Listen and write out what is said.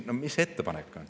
Ma küsin, mis teie ettepanek on.